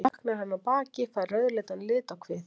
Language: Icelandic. Þá dökknar hann á baki, fær rauðleitan lit á kvið.